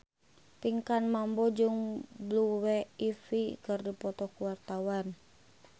Pinkan Mambo jeung Blue Ivy keur dipoto ku wartawan